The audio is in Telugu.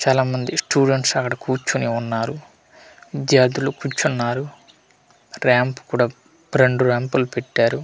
చాలామంది స్టూడెంట్స్ అక్కడ కూర్చొని ఉన్నారు విద్యార్థులు కూర్చున్నారు రాంప్ కూడా రెండు ర్యాంపులు పెట్టారు.